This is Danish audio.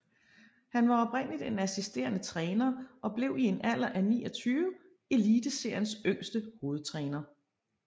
Han var oprindeligt en assisterende træner og blev i en alder af 29 Eliteseriens yngste hovedtræner